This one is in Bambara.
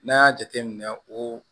N'an y'a jateminɛ o